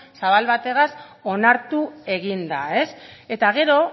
zabal batez onartu egin da eta gero